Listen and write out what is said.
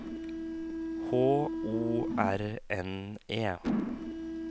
H O R N E